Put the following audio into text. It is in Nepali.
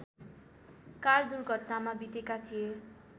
कार दुर्घटनामा बितेका थिए